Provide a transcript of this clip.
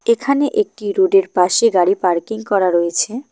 এখানে একটি রোডের পাশে গাড়ি পার্কিং করা রয়েছে।